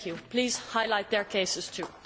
Please highlight their cases too.